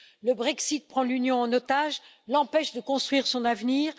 Le Brexit prend l'Union en otage et l'empêche de construire son avenir.